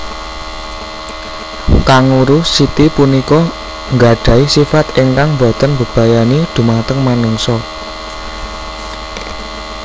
Kanguru siti punika nggadhahi sifat ingkang boten mbebayani dhumateng manungsa